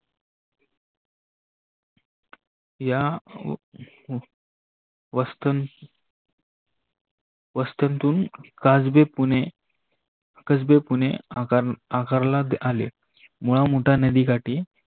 या वस्त्ततून काजबी पुने कजबे आकारला आले मुळा, मुठा नदीकाठी